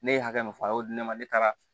Ne ye hakɛ min fɔ a y'o di ne ma ne taara